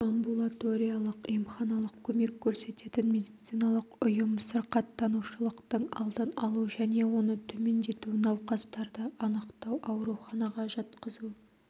амбулаториялық-емханалық көмек көрсететін медициналық ұйым сырқаттанушылықтың алдын алу және оны төмендету науқастарды анықтау ауруханаға жатқызу